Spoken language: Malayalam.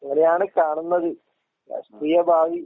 അങ്ങനെയാണ് കാണുന്നത്, രാഷ്ട്രീയ ഭാവി